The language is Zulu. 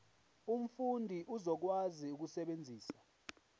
umfundi uzokwazi ukusebenzisa